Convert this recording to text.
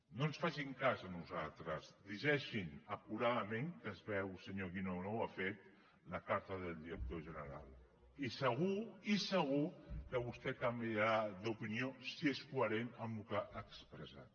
no ens facin cas a nosaltres llegeixin acuradament que es veu senyor guinó que no ho ha fet la carta del director general i segur i segur que vostè canviarà d’opinió si és coherent amb el que ha expressat